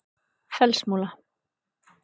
Fellsmúla